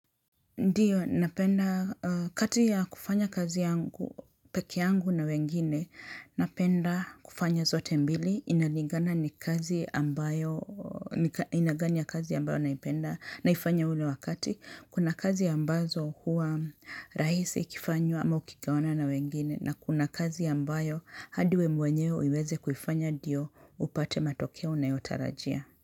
Ndiyo, napenda kati ya kufanya kazi yangu, pekee yangu na wengine, napenda kufanya zote mbili, inalingana ni kazi ambayo, aina gani ya kazi ambayo naipenda naifanya ule wakati. Kuna kazi ambazo huwa rahisi ikifanywa ama ukigawana na wengine na kuna kazi ambayo hadi we mwenyewe uiweze kufanya ndio upate matokeo unayotarajia.